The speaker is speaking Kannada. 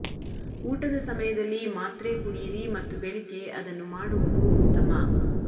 ಊಟದ ಸಮಯದಲ್ಲಿ ಮಾತ್ರೆ ಕುಡಿಯಿರಿ ಮತ್ತು ಬೆಳಿಗ್ಗೆ ಅದನ್ನು ಮಾಡುವುದು ಉತ್ತಮ